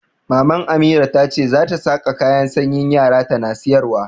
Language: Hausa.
Maman Amira ta ce za ta saƙa kayan sanyin yara tana sayarwa.